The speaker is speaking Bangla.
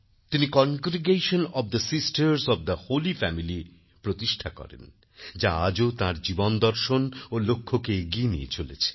তিনিCongregation of the sisters of the holy Familyপ্রতিষ্ঠা করেন যা আজও তাঁর জীবনদর্শন ও লক্ষ্যকে এগিয়ে নিয়ে চলেছে